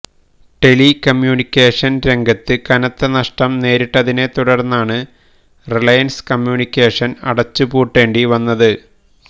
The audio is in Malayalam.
ടെലി കമ്യൂണിക്കേഷന് രംഗത്ത് കനത്ത നഷ്ടം നേരിട്ടതിനെത്തുടര്ന്നാണ് റിലയന്സ് കമ്മ്യൂണിക്കേഷന് അടച്ചുപൂട്ടേണ്ടിവന്നത്